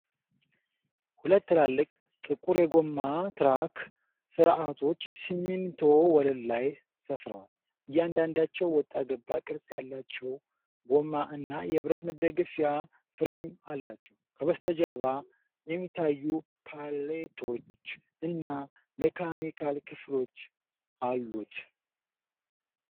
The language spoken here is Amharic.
ሁለት ትላልቅ ጥቁር የጎማ ትራክ ስርዓቶች በሲሚንቶ ወለል ላይ ሰፍረዋል። እያንዳንዳቸው ወጣ ገባ ቅርጽ ያላቸው ጎማ እና የብረት መደገፊያ ፍሬም አላቸው። ከበስተጀርባ የሚታዩ ፓሌቶች እና ሜካኒካል ክፍሎች አሉት።